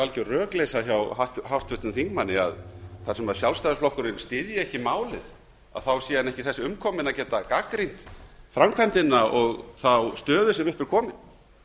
algjör rökleysa hjá háttvirtum þingmanni að þar sem sjálfstæðisflokkurinn styðji ekki málið sé hann þess ekki umkominn að gagnrýna framkvæmdina og þá stöðu sem upp er komin þetta er